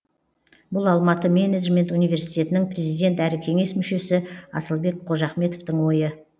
бұл алматы менеджмент университетінің президенті әрі кеңес мүшесі асылбек қожахметовтің ойы